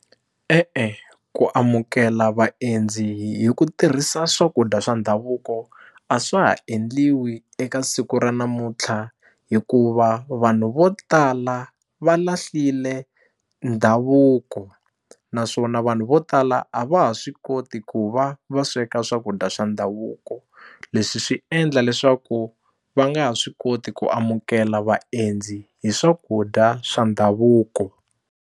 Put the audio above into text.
E-e ku amukela vaendzi hi ku tirhisa swakudya swa ndhavuko a swa ha endliwi eka siku ra namuntlha hikuva vanhu vo tala va lahlile ndhavuko naswona vanhu vo tala a va ha swi koti ku va va sweka swakudya swa ndhavuko leswi swi endla leswaku va nga ha swi koti ku amukela vaendzi hi swakudya swa ndhavuko.